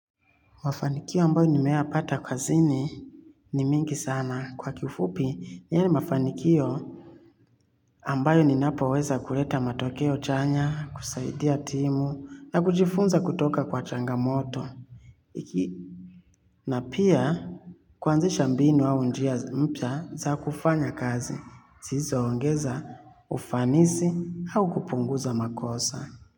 Mafanikio ambayo nimeyapata kazini ni mingi sana kwa kifupi yale mafanikio ambayo ninapoweza kuleta matokeo chanya, kusaidia timu, na kujifunza kutoka kwa changamoto. Na pia kuanzisha mbinu au njia mpya za kufanya kazi, sizo ongeza ufanisi au kupunguza makosa.